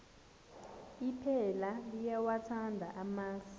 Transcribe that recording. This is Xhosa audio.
iphela liyawathanda amasi